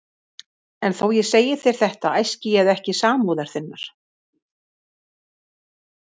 En þótt ég segi þér þetta æski ég ekki samúðar þinnar.